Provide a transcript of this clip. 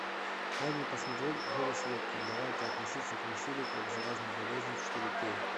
дай мне посмотреть гэри слуткин давайте относиться к насилию как к заразной болезни четыре кей